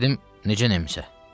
Dedim: necə Nemse?